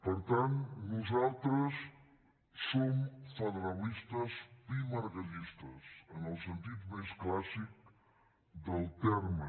per tant nosaltres som federalistes pimargallistes en el sentit més clàssic del terme